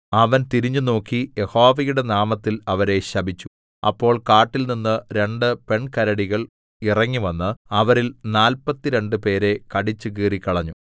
അവൻ തിരിഞ്ഞുനോക്കി യഹോവയുടെ നാമത്തിൽ അവരെ ശപിച്ചു അപ്പോൾ കാട്ടിൽനിന്ന് രണ്ടു പെൺകരടികൾ ഇറങ്ങിവന്ന് അവരിൽ നാല്പത്തിരണ്ട് പേരെ കടിച്ചുകീറിക്കളഞ്ഞു